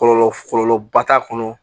Kɔlɔlɔ kɔlɔlɔba t'a kɔnɔ